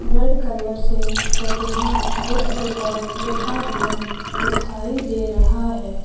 Red colour से Pratibha book depot लिखा हुआ दिखाई दे रहा है।